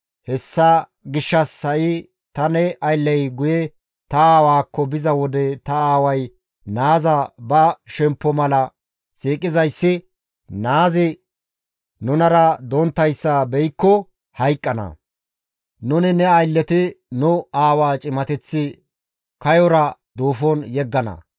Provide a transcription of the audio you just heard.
«Hessa gishshas ha7i ta ne aylley guye ta aawaakko biza wode ta aaway naaza ba shemppo mala siiqizayssi, naazi nunara donttayssa beykko hayqqana. Nuni ne aylleti nu aawaa cimateth kayora duufon yeggana.